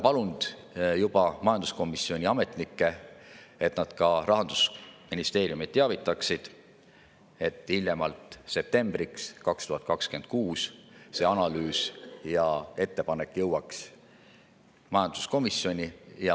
Olen juba palunud majanduskomisjoni ametnikke, et nad Rahandusministeeriumi teavitaksid, et hiljemalt septembriks 2026 see analüüs ja ettepanek jõuaks majanduskomisjoni.